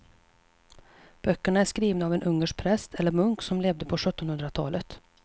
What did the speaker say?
Böckerna är skrivna av en ungersk präst eller munk som levde på sjuttonhundratalet.